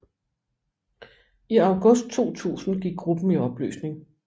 I august 2000 gik gruppen i opløsning